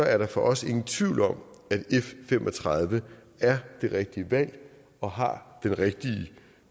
er der for os ingen tvivl om at f fem og tredive er det rigtige valg og har den rigtige